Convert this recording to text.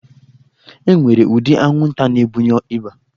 E nwere ụdị anwụnta na-ebunye ịba